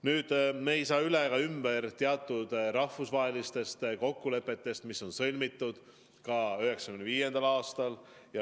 Nüüd, me ei saa üle ega ümber teatud rahvusvahelistest kokkulepetest, mis on sõlmitud 1995. aastal.